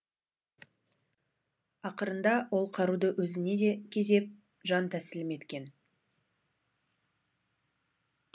ақырында ол қаруды өзіне де кезеп жан тәсілім еткен